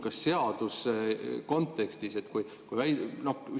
Kas seaduse kontekstis …?